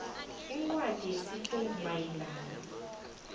incwadi yesifungo mayelana